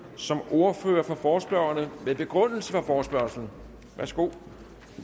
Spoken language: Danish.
som ordfører for forespørgerne med begrundelse for forespørgslen værsgo